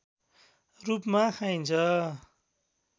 रूपमा खाइन्छ